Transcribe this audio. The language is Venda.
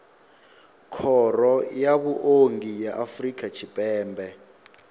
khoro ya vhuongi ya afrika tshipembe